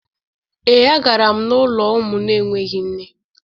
Ee, a gara m n’ụlọ ụmụ na-enweghị nne.